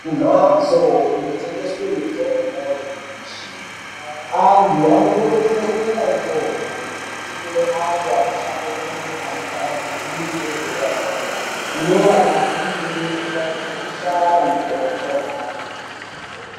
Mhatso Inotengeswe mitombo nyamashi antu anokurudzirwe kuende ikoko nekuti kune vantu anoshandemwo anenge aine dzidzo yederadera inovabatsire pakushara mitombo yaange eida.